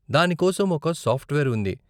దాని కోసం ఒక సాఫ్ట్వేర్ ఉంది.